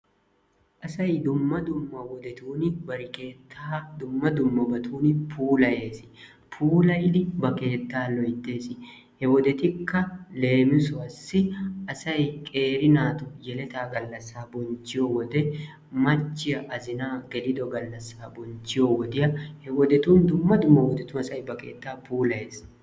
Asay dumma dumma wodetun bari keettaa dumma dummabatun puulayees. Puulayidi ba keettaa loyttees. He wodetikka leemisuwassi: asay qeeri naatu yeletaa gallassaa bonchchiyo wode, machchiya azinaa gelido gallassa bonchchiyo wodiy, he wodetun dumma dumma wodetun asay ba keettaa puulayees.